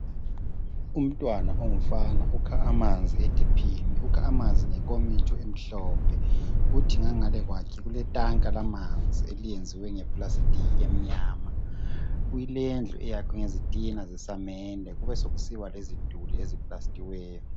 Umntwana ongumfana ukha amanzi ethephini . Ukha amanzi ngenkomitsho emhlophe . Kuthi ngangale kwakhe kuletanka lamanzi eliyenziwe nge plastic emnyama. Kulendlu eyakhiwe ngezitina zesamende kube sekusiba leziduli eziplastiweyo.